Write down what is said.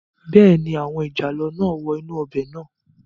Bẹ́ẹ̀ni, àwọn ìjàlọ náà wọ inú ọbẹ̀ náà